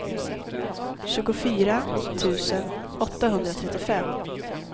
tjugofyra tusen åttahundratrettiofem